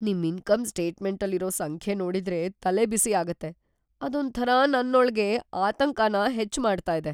ನಿಮ್ ಇನ್ಕಮ್ ಸ್ಟೇಟ್‌ಮೆಂಟಲ್ಲಿರೋ ಸಂಖ್ಯೆ ನೋಡಿದ್ರೆ ತಲೆಬಿಸಿ ಆಗತ್ತೆ.. ಅದೊಂಥರ ನನ್ನೊಳ್ಗೆ ಆತಂಕನ ಹೆಚ್ಚ್‌ ಮಾಡ್ತಾ ಇದೆ.